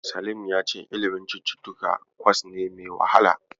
Salim ya ce ilimin cututtuka kwas ne mai wahala.